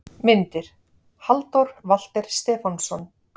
Myndir: Halldór Walter Stefánsson